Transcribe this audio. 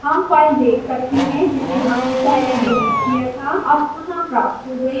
हम file देख सकते हैं जिसे हमने पहले डिलीट किया था अब पुनः प्राप्त हो गई है